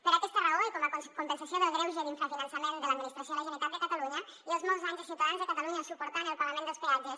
per aquesta raó i com a compensació del greuge d’infrafinançament de l’administració de la generalitat de catalunya i els molts anys dels ciutadans de catalunya suportant el pagament dels peatges